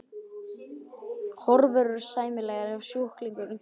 Horfur eru sæmilegar ef sjúklingurinn kemur nógu snemma til aðgerðar.